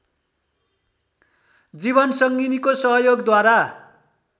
जीवनसंगीको सहयोगद्वारा